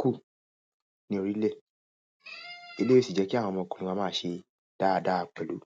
kù ní orílẹ̀. Eleyi ó sì jẹ́ kí àwọn ọmọkùnrin wọ́n máa ṣe dáadáa pẹ̀lú.